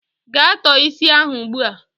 Gaa tọọ isi ahụ ugbua!